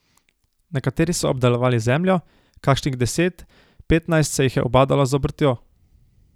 Nekateri so obdelovali zemljo, kakšnih deset, petnajst se jih je ubadalo z obrtjo.